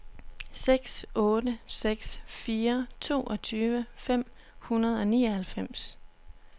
seks otte seks fire toogtyve fem hundrede og nioghalvfems